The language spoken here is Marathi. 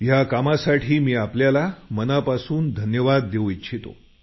या कामासाठी मी आपल्याला मनापासून धन्यवाद देऊ इच्छितो